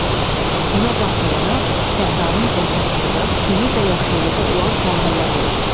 Buna baxmayaraq, Səhranın ortasında suyu və yaşıllığı olan sahələr olur.